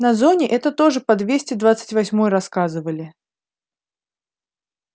на зоне это тоже по двести двадцать восьмой рассказывали